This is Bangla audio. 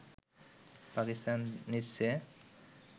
পাকিস্তান নিচ্ছে